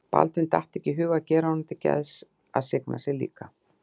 Baldvin datt ekki í hug að gera honum til geðs að signa sig líka.